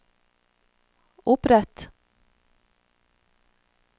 opprett